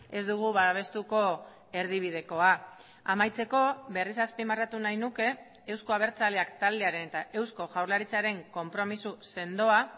ez dugu babestuko erdibidekoa amaitzeko berriz azpimarratu nahi nuke euzko abertzaleak taldearen eta eusko jaurlaritzaren konpromiso sendoa